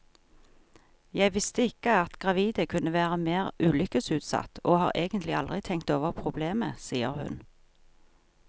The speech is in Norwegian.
Jeg visste ikke at gravide kunne være mer ulykkesutsatt, og har egentlig aldri tenkt over problemet, sier hun.